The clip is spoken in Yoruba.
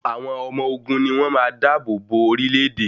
Àwọn ọmọ ogun ni wn máa da àbò bo orílẹ́-èdè.